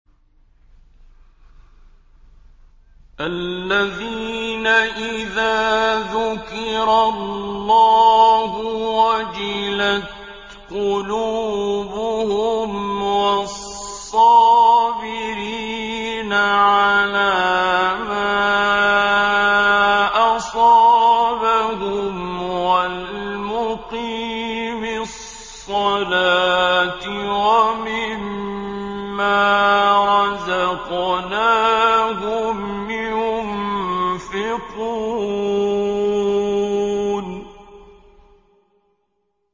الَّذِينَ إِذَا ذُكِرَ اللَّهُ وَجِلَتْ قُلُوبُهُمْ وَالصَّابِرِينَ عَلَىٰ مَا أَصَابَهُمْ وَالْمُقِيمِي الصَّلَاةِ وَمِمَّا رَزَقْنَاهُمْ يُنفِقُونَ